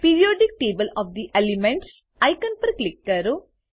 periodic table of the elements icon પર click કરો